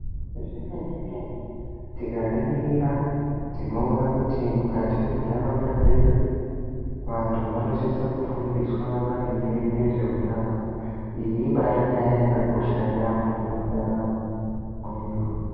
Zvemene-mene tikaringira tinoona kuti mukati menharaunda dzedu, vantu vanosise kufundiswa maringe ngezveutano, iyi ibaarinyaya yakakosha yaampho mundaramo mwedu.